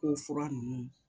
Ko fura ninnu